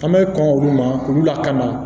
An bɛ kɔn olu ma olu lakana